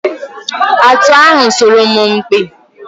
Atụ ahụ sọrọ m mpi.